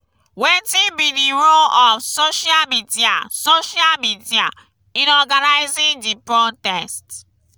wetin be di role of social media social media in organizing di protest?